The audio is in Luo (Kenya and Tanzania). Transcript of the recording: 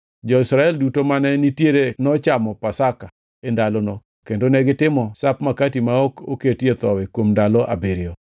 Jo-Israel duto mane nitiere nochamo Pasaka e ndalono kendo negitimo Sap Makati ma ok oketie Thowi kuom ndalo abiriyo.